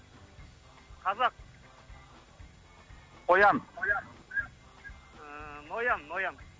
қазақ қоян ыыы ноян ноян